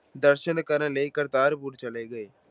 ਦਰਸ਼ਨ ਕਰਨ ਲਈ ਕਰਤਾਰਪੁਰ ਚਲੇ ਗਏ।